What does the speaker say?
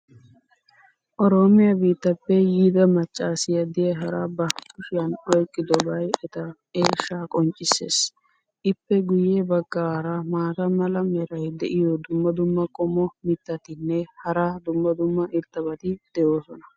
Oroomiya biittaappe yiida macaassiya diyaara ba kushiyan oyqqidobay eta eeshshaa qonccisees. ippe guye bagaara maata mala meray diyo dumma dumma qommo mitattinne hara dumma dumma irxxabati de'oosona.